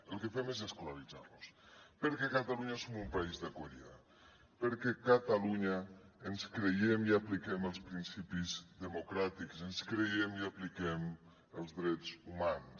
el que fem és escolaritzar los perquè catalunya som un país d’acollida perquè catalunya ens creiem i apliquem els principis democràtics ens creiem i apliquem els drets humans